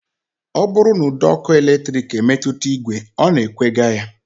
Ọ bụrụ na ụdọọkụ eletrik emetụta ìgwè, ọ na-ekwega ya